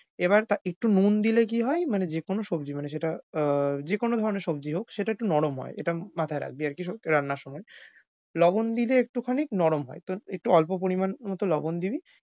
এবার তা~ একটু নুন দিলে কী হয় মানে যেকোন সবজি মানে সেটা আহ যেকোন ধরনের সবজি হোক সেটা একটু নরম হয় এটা মাথায় রাখবি আর কি সবজি রান্নার সময়। লবণ দিলে একটুখানি নরম হয়। তো একটু অল্প পরিমাণ মত লবণ দিবি।